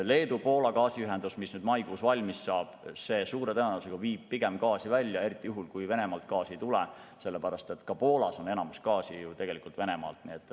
Leedu-Poola gaasiühendus, mis maikuus valmis saab, suure tõenäosusega viib pigem gaasi välja, eriti juhul, kui Venemaalt gaasi ei tule, sellepärast et ka Poolas on enamus gaasi ju tegelikult Venemaalt tulnud.